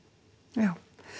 já